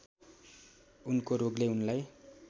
उनको रोगले उनलाई